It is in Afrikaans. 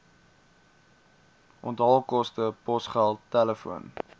onthaalkoste posgeld telefoon